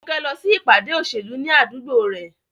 Funke lọ sí ìpàdé òṣèlú ní àdúgbò rẹ̀.